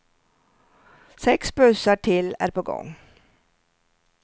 Sex bussar till är på gång.